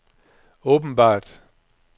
åbenbart